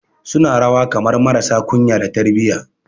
Suna rawa kamar marasa kunya da tarbiyya